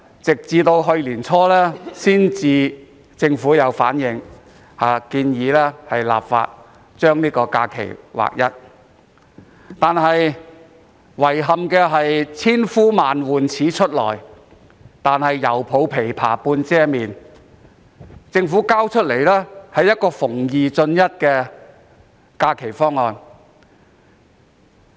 政府在去年年初才建議立法劃一假期日數，但遺憾的是"千呼萬喚始出來，猶抱琵琶半遮面"。政府提出一個"逢二進一"的方案。